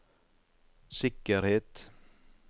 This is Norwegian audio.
sikkerhet